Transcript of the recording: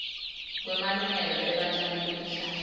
kwemalungelo ebatjali betihlahla